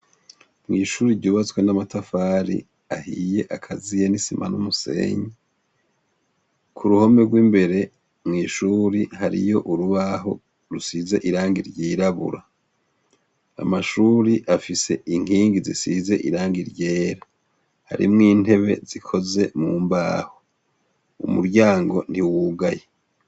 Mw'ishuri ryubaswe n'amatafari ahiye akaziye n'isima n'umusenyi ku ruhome rw'imbere mw'ishuri hariyo urubaho rusize irangi ryirabura amashuri afise inkingi zisize irangi ryera harimwo intebe zikoze mu mbaho umuryango ntiwugaye.